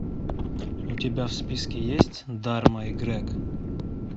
у тебя в списке есть дарма и грег